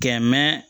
Kɛ mɛ